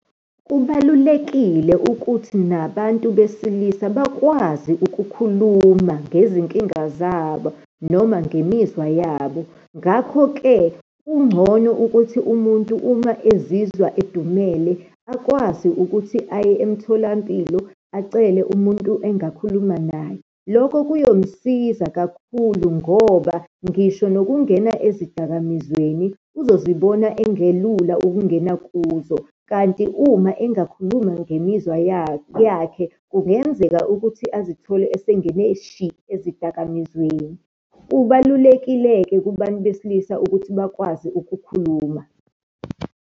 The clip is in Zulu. Kubalulekile ukuthi nabantu besilisa bakwazi ukukhuluma ngezinkinga zabo, noma ngemizwa yabo. Ngakho-ke kungcono ukuthi umuntu uma ezizwa edumele, akwazi ukuthi aye emtholampilo, acele umuntu engakhuluma naye. Lokho kuyomsiza kakhulu ngoba ngisho nokungena ezidakamizweni uzozibona engelula ukungena kuzo. Kanti uma engakhuluma ngemizwa yakhe, kungenzeka ukuthi azithole esengene shi ezidakamizweni. Kubalulekile-ke kubantu besilisa ukuthi bakwazi ukukhuluma.